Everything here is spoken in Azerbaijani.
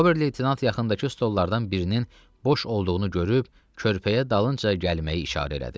Ober-leytenant yaxındakı strollardan birinin boş olduğunu görüb körpəyə dalınca gəlməyi işarə elədi.